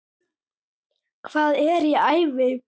Hvað er í ævi?